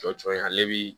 Jɔ cɔye ale bi